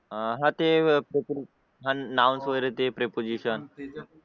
हा ते अन् noun वगैरे ते preposition